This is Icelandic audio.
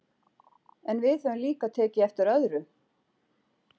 En við höfum líka tekið eftir öðru.